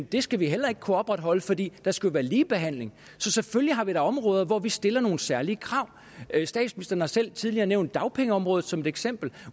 det skal vi heller ikke kunne opretholde fordi der skal være ligebehandling så selvfølgelig har vi da områder hvor vi stiller nogle særlige krav statsministeren har selv tidligere nævnt dagpengeområdet som et eksempel